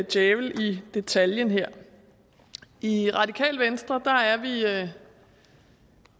djævel i detaljen her i radikale venstre er vi det